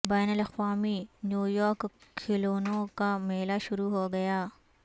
بین الاقوامی نیویارک کھلونوں کا میلہ شروع ہو گیا